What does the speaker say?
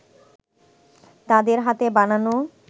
তাদের হাতে বানানো